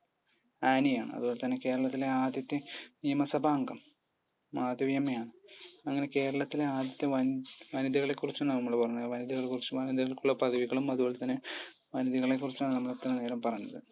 Annie ആണ് അതുപോലെതന്നെ കേരളത്തിലെ ആദ്യത്തെ നിയമസഭാ അംഗം മാധവിയമ്മ ആണ് അങ്ങനെ കേരളത്തിലെ ആദ്യത്തെ വനി വനിതകളെകുറിച്ചാണ് നമ്മൾ പറഞ്ഞത് വനിതകളെക്കുറിച്ചു പറഞ്ഞത് വനിതകൾക്കുള്ള പദവികളും അതുപോലെതന്നെ വനിതകളെക്കുറിച്ചാണ് നമ്മൾ ഇത്രയും നേരം പറഞ്ഞത്